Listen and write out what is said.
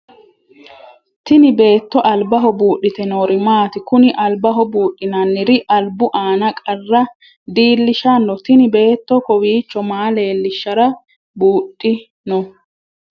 Tinni beetto albaho buudhite noori maati? Kunni albaho buudhinnanniri albu aanna qarra diilishanno? Tinni beetto kowiicho maa leelishara buudhi no?